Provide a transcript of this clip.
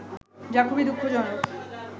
যা খুবই দুঃখজনক